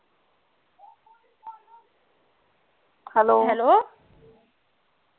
hello